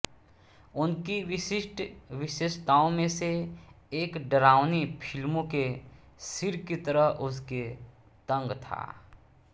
उनकी विशिष्ठ विशेषताओं में से एक डरावनी फिल्मों के सिर की तरह उसके तंग था